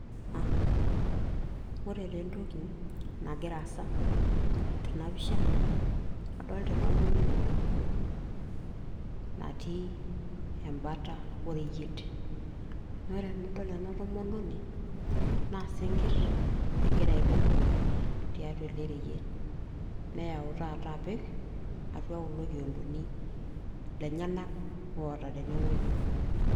aa ore taa entoki nagira aasa tenapisha adolita entomononi nabo natii embata oreyiet naa ore tenadol ena tomononi naa isinkirr egira aibung tiatua ele reyiet neyau taata apik atua kulo kiondoni lenyanak oota tenewueji.